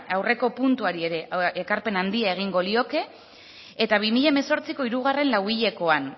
aurreko puntuari ere ekarpen handia egingo lioke eta bi mila hemezortziko hirugarren lauhilekoan